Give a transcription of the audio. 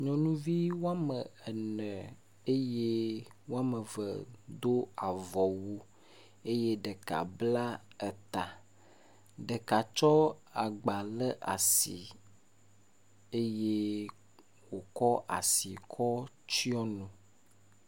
Nyɔnuvi woame ene eye woame eve do avɔwu eye ɖeka bla eta. Ɖeka tsɔ agba ɖe asi eye wòkɔ asi kɔ tsyɔ nu.